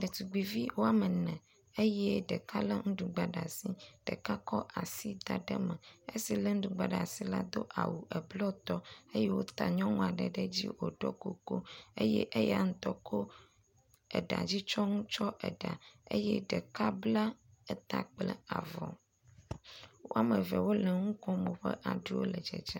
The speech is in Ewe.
Ɖetugbuivi woame ene eye ɖela lé nuɖugba ɖe asi, ɖeka tsɔ asi da ɖe me. Esi lé nuɖugba ɖe asi la do awu eblɔtɔ eye wota nyɔnu aɖe ɖe edzi wòɖɔ kuku eye eya ŋutɔ tsɔ eɖa dzi tsyɔnu tsyɔ eɖa eye ɖeka bla eta kple avɔ. Woame eve wole nu kom, woƒe aɖu le dzedzem.